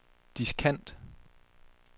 diskant